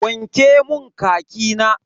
Wanke mun khaki na.